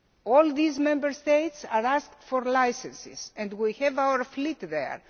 All these Member States have asked for licences and we have our fleet there.